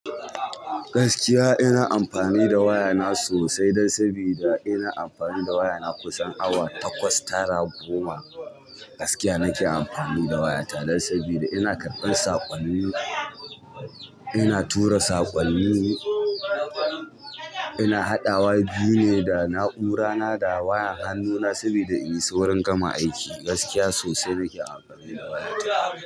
Gaskiya ina amfani da waya na sosai dan sabida ina amfani da waya na kusan awa takwas tara goma. Gaskiya nake amfani da waya ta dan sabida ina karɓan saƙonni, ina tura saƙonni, ina haɗawa juye da na'ura na da waya han nuna sabida in yi saurin gama aiki. Gaskiya sosai nake amfani da waya ta.